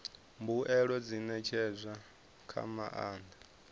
mbuelo dzi ṋetshedzwa nga maanḓa